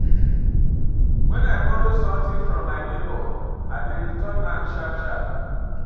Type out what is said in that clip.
Wen I borrow sometin from my nebor, I dey return am sharp-sharp.